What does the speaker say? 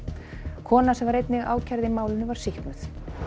kona sem var einnig ákærð í málinu var sýknuð